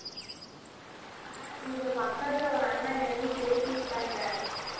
அஹ் இங்க பக்கதுல ஒரு அண்ணா என்னயும் சேர்த்து விட்டாங்க